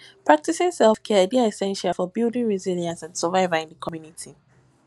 practicing selfcare dey essential for building resilience and survival in di community